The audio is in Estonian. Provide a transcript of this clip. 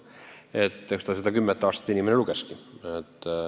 Eks inimene seda kümmet aastat silmas pidaski.